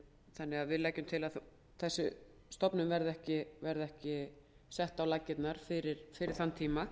þannig að við leggjum til að þessi stofnun verði ekki sett á laggirnar fyrir þann tíma